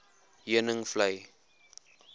heuningvlei